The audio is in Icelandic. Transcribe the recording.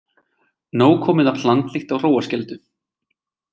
Nóg komið af hlandlykt á Hróarskeldu